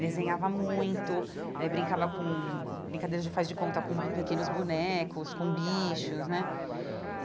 desenhava muito, eh brincava com... Brincadeira de fazer de conta com pequenos bonecos, com bichos, né?